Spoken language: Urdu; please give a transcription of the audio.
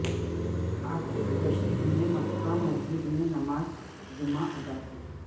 عاطف رشید نے مکہ مسجد میں نماز جمعہ ادا کی